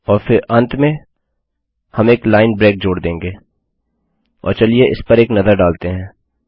और अंत में हम एक लाइन ब्रेक जोड़ देंगे और चलिए इस पर एक नज़र डालते हैं